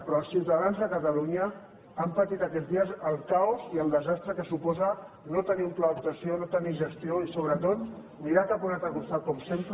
però els ciutadans de catalunya han patit aquest dia el caos i el desastre que suposa no tenir un pla d’actuació no tenir gestió i sobretot mirar cap a un altre costat com sempre